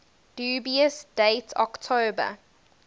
dubious date october